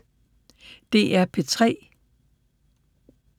DR P3